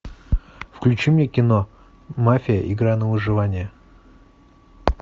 включи мне кино мафия игра на выживание